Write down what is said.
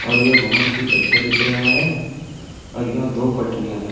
और ये बहोत ही अच्छा दिख रहा है और यहाँँ दो पटरिया है।